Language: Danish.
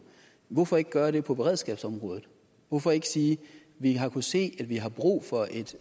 hvorfor ikke gøre det på beredskabsområdet hvorfor ikke sige vi har kunnet se at vi har brug for et